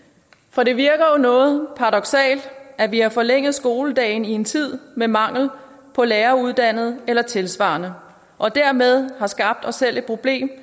for det virker jo noget paradoksalt at vi har forlænget skoledagen i en tid med mangel på læreruddannede eller tilsvarende og dermed har skabt os selv et problem